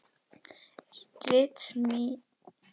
Ritsímans en hún þekkti mig greinilega ekki.